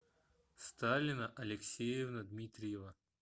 сталина алексеевна дмитриева